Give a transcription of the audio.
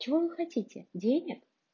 чего вы хотите денег